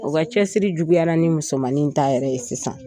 O ka cɛsiri juguyara ni musomanin in ta yɛrɛ ye sisan.